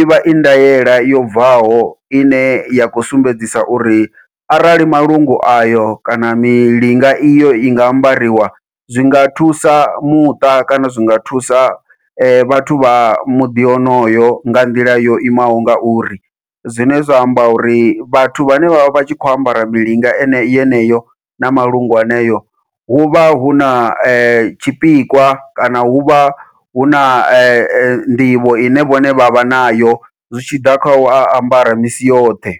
ivha I ndaela yo bvaho ine ya khou sumbedzisa uri arali malungu ayo kana milinga iyo yanga ambariwa zwinga thusa muṱa kana zwinga thusa vhathu vha muḓi wonowo nga nḓila yo imaho ngauri. Zwine zwa amba uri vhathu vhane vha vha vha tshi khou ambara milinga ye yeneyo na malungu haneyo huvha huna tshipikwa kana huvha huna nḓivho ine vhavha nayo zwi tshiḓa khau ambara misi yoṱhe.